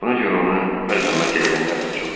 Buna görə onu məzəmmət eləyənlər də çoxdur.